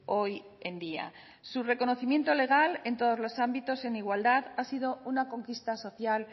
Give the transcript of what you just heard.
hoy en día su reconocimiento legal en todos los ámbitos en igualdad ha sido una conquista social